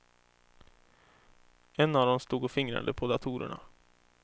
En av dem stod och fingrade på datorerna.